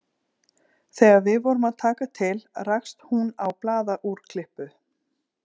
Þegar við vorum að taka til rakst hún á blaðaúrklippu